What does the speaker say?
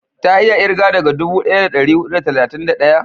ta iya kirga daga dubu daya da dari hudu da talatin da daya?